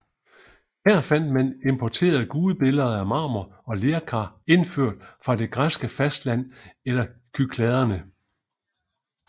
Her fandt man importerede gudebilleder af marmor og lerkar indført fra det græske fastland eller Kykladerne